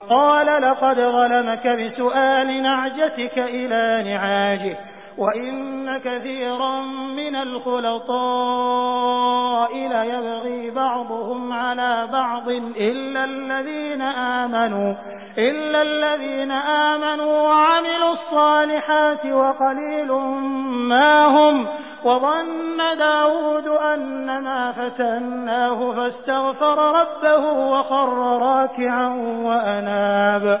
قَالَ لَقَدْ ظَلَمَكَ بِسُؤَالِ نَعْجَتِكَ إِلَىٰ نِعَاجِهِ ۖ وَإِنَّ كَثِيرًا مِّنَ الْخُلَطَاءِ لَيَبْغِي بَعْضُهُمْ عَلَىٰ بَعْضٍ إِلَّا الَّذِينَ آمَنُوا وَعَمِلُوا الصَّالِحَاتِ وَقَلِيلٌ مَّا هُمْ ۗ وَظَنَّ دَاوُودُ أَنَّمَا فَتَنَّاهُ فَاسْتَغْفَرَ رَبَّهُ وَخَرَّ رَاكِعًا وَأَنَابَ ۩